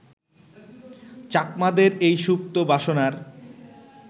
চাকমাদের এই সুপ্ত বাসনার